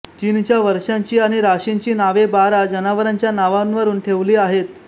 चीनच्या वर्षांची आणि राशींची नावे बारा जनावरांच्या नावांवरून ठेवली आहेत